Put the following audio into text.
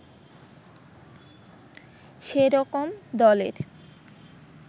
সে রকম দলের